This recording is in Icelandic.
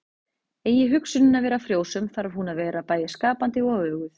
Eigi hugsunin að vera frjósöm þarf hún að vera bæði skapandi og öguð.